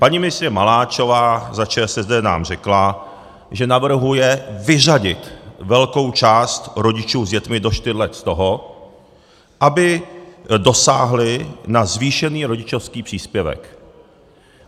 Paní ministryně Maláčová za ČSSD nám řekla, že navrhuje vyřadit velkou část rodičů s dětmi do čtyř let z toho, aby dosáhli na zvýšený rodičovský příspěvek.